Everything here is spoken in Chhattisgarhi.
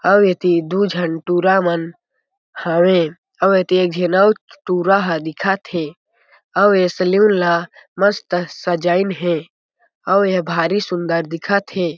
अउ एती दू झन टुरा मन हवे अउ एती एक झीन टुरा ह दिखत हें अउ ऐ सेलून ला मस्त सजाइन हे अउ ए ह भारी सुंदर दिखत हे।